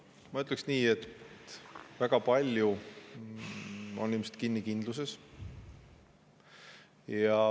Ma ütleksin nii, et väga palju on ilmselt kinni kindluses.